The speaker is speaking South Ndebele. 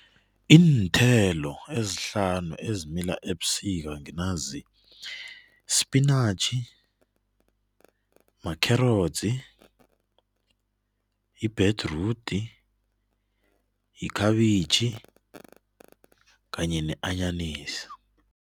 Iinthelo ezihlanu ezimila ebusika nginanzi spinatjhi, makherotsi, ibhedrudi, yikhabitjhi kanye anyanisi.